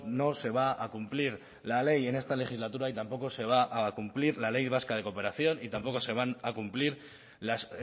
no se va a cumplir la ley en esta legislatura y tampoco se va a cumplir la ley vasca de cooperación y tampoco se van a cumplir las